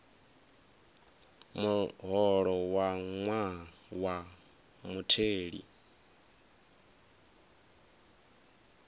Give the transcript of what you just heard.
muholo wa ṅwaha wa mutheli